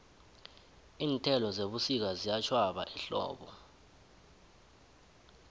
iinthelo zebusika ziyatjhwaba ehlobo